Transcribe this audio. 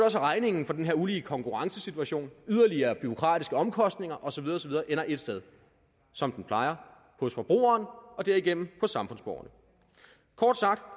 at regningen for den her ulige konkurrencesituation yderligere bureaukratiske omkostninger og så videre ender et sted som den plejer hos forbrugeren og derigennem hos samfundsborgerne kort sagt